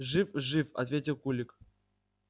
жив жив ответил кулик